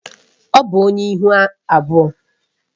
Ọ bụ onye ihu abụọ.